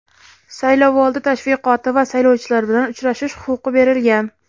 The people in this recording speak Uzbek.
saylovoldi tashviqoti va saylovchilar bilan uchrashish huquqi berilgan.